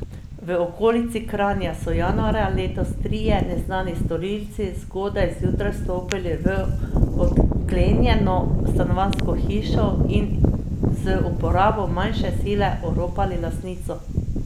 V okolici Kranja so januarja letos trije neznani storilci zgodaj zjutraj vstopili v odklenjeno stanovanjsko hišo in z uporabo manjše sile oropali lastnico.